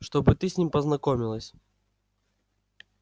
чтобы ты с ним познакомилась